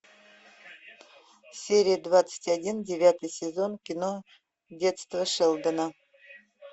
серия двадцать один девятый сезон кино детство шелдона